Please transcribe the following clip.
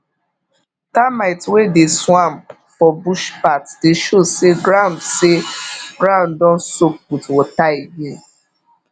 termite wey dey swarm for bush path dey show say ground say ground don soak with water again